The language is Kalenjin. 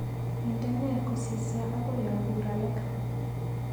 Indene kosisyo agoi aguur alak